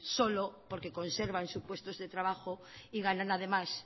solo porque conservan sus puestos de trabajo y ganan además